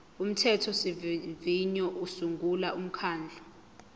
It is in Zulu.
umthethosivivinyo usungula umkhandlu